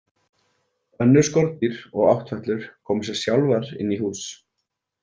Önnur skordýr og áttfætlur koma sér sjálfar inn í hús.